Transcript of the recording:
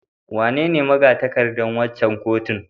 Wanene maga-takardar waccan kotun?